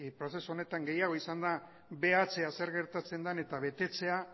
prozesu honetan gehiago izan behatzea zer gertatzen den eta betetzea